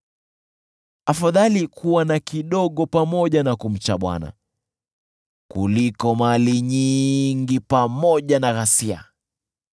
Afadhali kuwa na kidogo pamoja na kumcha Bwana , kuliko mali nyingi pamoja na ghasia.